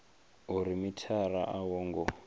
uri mithara a wo ngo